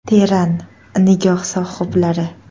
Teran nigoh sohiblari.